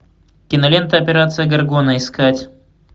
кинолента операция гаргона искать